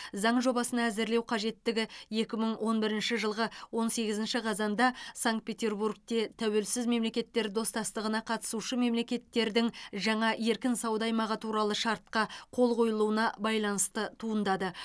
заң жобасын әзірлеу қажеттігі екі мың он бірінші жылғы он сегізінші қазанда санкт петербургте тәуелсіз мемлекеттер достастығына қатысушы мемлекеттердің жаңа еркін сауда аймағы туралы шартқа қол қойылуына байланысты туындады